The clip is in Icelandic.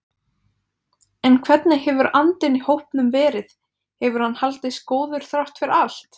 En hvernig hefur andinn í hópnum verið, hefur hann haldist góður þrátt fyrir allt?